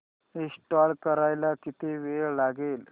install करायला किती वेळ लागेल